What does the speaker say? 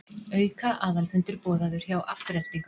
Auka aðalfundur boðaður hjá Aftureldingu